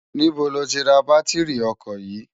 Nibó ló ti rá bàtirí òkò yi?